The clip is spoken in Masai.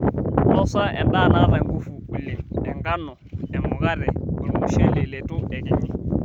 Nosa endaa naata ngufu oleng, enkano, emukate, olmushele leitu ekinyi.